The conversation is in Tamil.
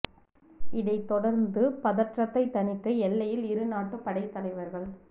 இதைத் தொடர்ந்து பதற்றத்தை தணிக்க எல்லையில் இரு நாட்டு படைத் தலைவர்கள்